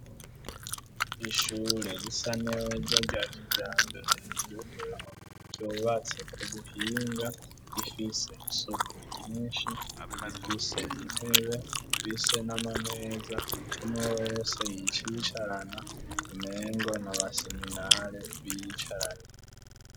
ishure risa neza rya kijambere yif ryubatse ku buhinga rifise isoko ry'inshi rifise intebe fise n'amameza umwe wese yicicarana umengo n'abaseminare b'icarane